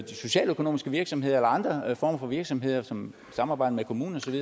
socialøkonomiske virksomheder eller andre former for virksomheder som samarbejder med kommuner